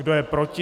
Kdo je proti?